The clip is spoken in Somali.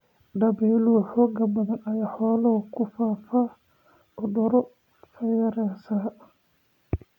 Dabaylo xoog badan ayaa xoolaha ku faafa cudurro fayras ah.